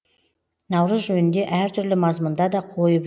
наурыз жөнінде әртүрлі мазмұнда да қойып